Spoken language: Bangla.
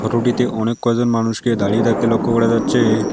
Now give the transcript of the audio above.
অনেক কয়জন মানুষকে দাঁড়িয়ে থাকে লক্ষ করা যাচ্ছে।